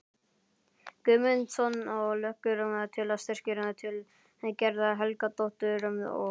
Guðmundsson og leggur til að styrkir til Gerðar Helgadóttur og